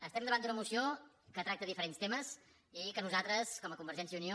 estem davant d’una moció que tracta diferents temes i que a nosaltres com a convergència i unió